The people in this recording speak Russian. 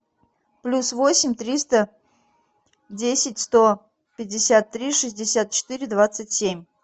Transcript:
плюс восемь триста десять сто пятьдесят три шестьдесят четыре двадцать семь